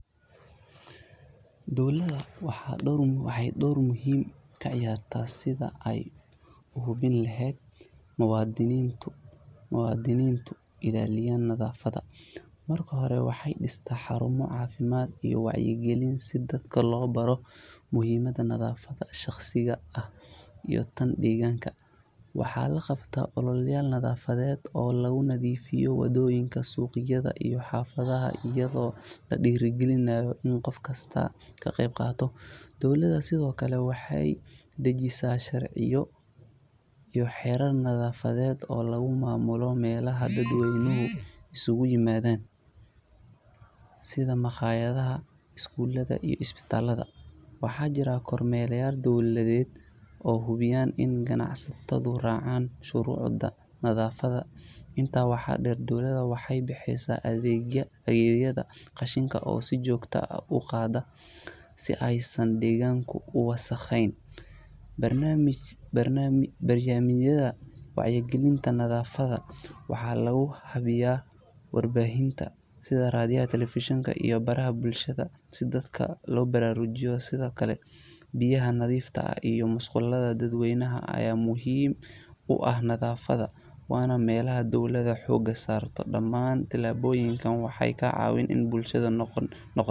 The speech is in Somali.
Dawlda waxey dor muhima ka ciyarta sidhee aa uhuwin laad muwadinito iilaaliya nadaafada markahore waaxey diiste xaruma cafiimad iyo wacyo gilin si dadka lo baro muhimada nadaafadda shaqsi aaha iyo taan deyganka waaxa la qabte ololo nadaafadde oo lagu nadiifiyo wadoyinka suqyada iyo xafadaha iyadho ladirigilinayo iney qof kasta ka qeb qaato dawladda sidhoo kale waxey dajiisa sharciiyo iyo xerar nadaafade oo lagu mamulo melaha daad weynaha iskugu yimadana sidaa maqayadaha, iskulada iyo isbatalada waxa jira kormero dawlaadde oo hubiiyan iney gacansatado raacan shurucda nadaafaddaha intaa waxa deer dawlada waxey bixisa adeegyada qashimada oo sii joogta ah uqaada si ey saan degaanku uwasaqeyn barnamijka wacyagilinta nadaafadda waaxa lagu hubiya sidhaa radiyaha Television baraha bulshada si dadka lo burarujiyo sidhoo kale biyaha nadiifta iyo musqulaha daad weynaha aya muhim u ah nafaadda waa melha dawlada xooga sarto daamana tilaboyinka waxey kaa cawini in bulshadu noqoto.